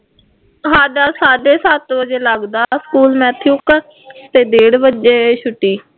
ਸਾਡਾ ਸਾਢੇ ਸੱਤ ਵਜੇ ਲੱਗਦਾ ਸਕੂਲ ਕਾ ਅਤੇ ਡੇਢ ਵਜੇ ਛੁੱਟੀ